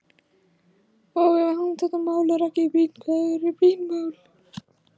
Og ef að þetta mál er ekki brýnt, hvað eru brýn mál?